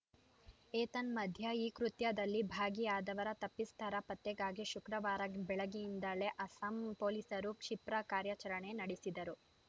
ಏತನ್ಮಧ್ಯೆ ಈ ಕೃತ್ಯದಲ್ಲಿ ಭಾಗಿಯಾದವರ ತಪ್ಪಿಸ್ಥರ ಪತ್ತೆಗಾಗಿ ಶುಕ್ರವಾರ ಬೆಳಗ್ಗೆಯಿಂದಲೇ ಅಸ್ಸಾಂ ಪೊಲೀಸರು ಕ್ಷಿಪ್ರ ಕಾರ್ಯಾಚರಣೆ ನಡೆಸಿದರು